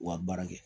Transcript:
U ka baara kɛ